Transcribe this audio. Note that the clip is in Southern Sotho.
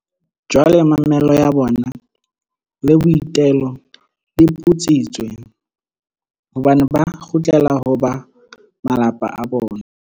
Jwale mamello ya bona le boitelo di putsitswe, hobane ba kgutlela ho ba malapa a bona.